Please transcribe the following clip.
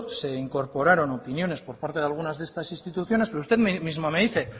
se incorporaron opiniones por parte de algunas de estas instituciones pero usted mismo me dice